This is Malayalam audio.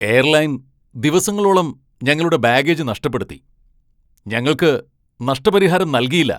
എയർലൈൻ ദിവസങ്ങളോളം ഞങ്ങളുടെ ബാഗേജ് നഷ്ടപ്പെടുത്തി, ഞങ്ങൾക്ക് നഷ്ടപരിഹാരം നൽകിയില്ല.